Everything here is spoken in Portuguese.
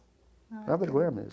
É uma vergonha mesmo.